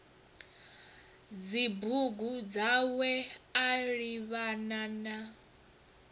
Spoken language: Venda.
dzibugu dzawe a livhana na